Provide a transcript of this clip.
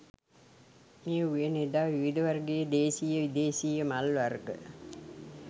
මේ උයන එදා විවිධ වර්ගයේ දේශීය විදේශීය මල් වර්ග